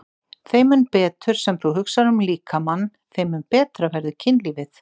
Þeim mun betur sem þú hugsar um líkamann, þeim mun betra verður kynlífið.